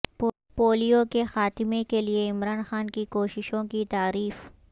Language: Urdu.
پولیو کے خاتمے کے لئے عمران خان کی کوششوں کی تعریف